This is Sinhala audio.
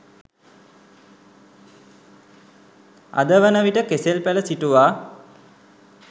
අද වන විට කෙසෙල් පැළ සිටුවා